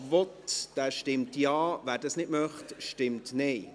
Wer das will, stimmt Ja, wer das nicht will, stimmt Nein.